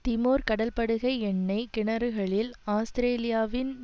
Timor கடல்படுகை எண்ணெய் கிணறுகளில் ஆஸ்திரேலியாவின்